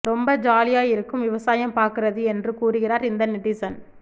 ரொம்ப ஜாலியா இருக்கும் விவசாயம் பாக்கறது என்று கூறுகிறார் இந்த நெட்டிசன்